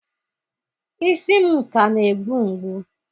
isi m ka na-egbu mgbu